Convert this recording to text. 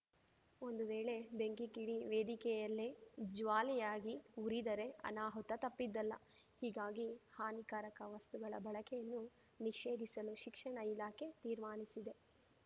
ಒಂದು ವೇಳೆ ಬೆಂಕಿ ಕಿಡಿ ವೇದಿಕೆಯಲ್ಲೇ ಜ್ವಾಲೆಯಾಗಿ ಉರಿದರೆ ಅನಾಹುತ ತಪ್ಪಿದ್ದಲ್ಲ ಹೀಗಾಗಿ ಹಾನಿಕಾರಕ ವಸ್ತುಗಳ ಬಳಕೆಯನ್ನು ನಿಷೇಧಿಸಲು ಶಿಕ್ಷಣ ಇಲಾಖೆ ತೀರ್ಮಾನಿಸಿದೆ